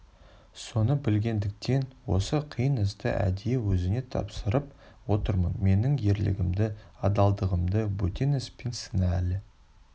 соны білгендіктен осы қиын істі әдейі өзіңе тапсырып отырмын менің ерлігімді адалдығымды бөтен іспен сына әлі